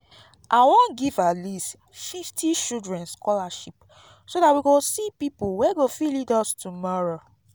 i wan give at least fifty children scholarship so dat we go see people wey go fit lead us tomorrow